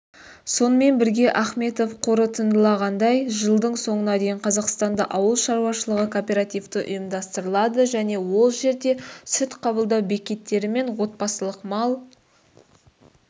сонымен бірге ахметов қорытындылағандай жылдың соңына дейін қазақстанда ауыл шаруашылығы кооперативі ұйымдастырылады және ол жерде сүт қабылдау бекеттері мен отбасылық мал